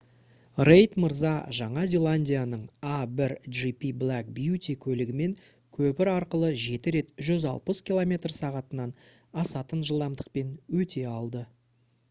рейд мырза жаңа зеландияның a1gp black beauty көлігімен көпір арқылы жеті рет 160 км/сағ-тан асатын жылдамдықпен өте алды